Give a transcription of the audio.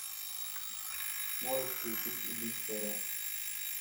можешь включить убить царя